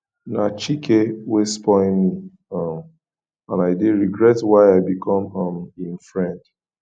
na chike wey spoil me um and i dey regret why i become um im friend